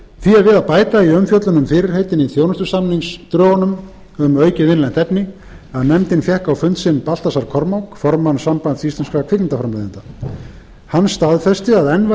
við að bæta í umfjöllun um fyrirheitin í þjónustusamningsdrögunum um aukið innlent efni að nefndin fékk á fund sinn baltasar kormák formann sambands íslenskum kvikmyndaframleiðenda hann staðfesti að enn